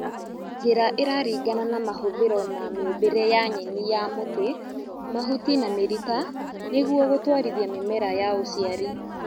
Njĩra ĩraringana na mahũthĩro ma mĩũmbĩre ya nyeni ya mũtĩ, mahuti na mĩrita nĩguo gũtwarithia mĩmera ya ũciari